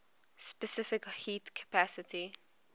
specific heat capacity